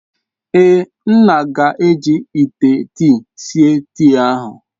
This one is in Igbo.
Ee. nna ga-eji ite tii sie tii ahu.